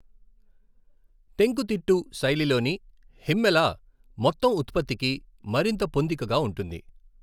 టెంకుతిట్టు శైలిలోని హిమ్మెల మొత్తం ఉత్పత్తికి మరింత పొందికగా ఉంటుంది.